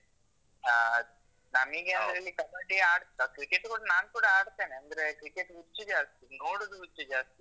ಹ. ನನಿಗೆ ಅಂದ್ರೆ ಇಲ್ಲಿ ಕಬಡ್ಡಿ ಆಡ್ತಾ cricket ಕೂಡ ನಾನ್ಕೂಡ ಆಡ್ತೇನೆ. ಅಂದ್ರೆ cricket ಹುಚ್ಚು ಜಾಸ್ತಿ, ನೋಡುದು ಹುಚ್ಚು ಜಾಸ್ತಿ.